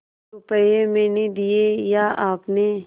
रुपये मैंने दिये या आपने